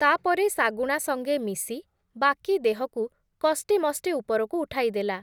ତା’ପରେ ଶାଗୁଣା ସଙ୍ଗେ ମିଶି, ବାକି ଦେହକୁ କଷ୍ଟେମଷ୍ଟେ ଉପରକୁ ଉଠାଇଦେଲା ।